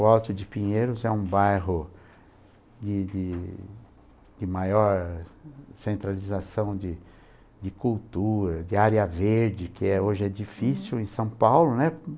O Alto de Pinheiros é um bairro de de de maior centralização de de cultura, de área verde, que é hoje é difícil em São Paulo, né?